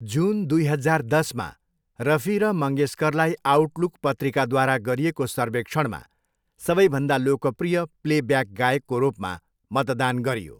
जुन, दुई हजार दसमा, रफी र मङ्गेशकरलाई आउटलुक पत्रिकाद्वारा गरिएको सर्वेक्षणमा सबैभन्दा लोकप्रिय प्लेब्याक गायकको रूपमा मतदान गरियो।